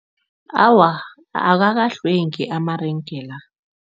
Awa, akakahlwengi amarenge la.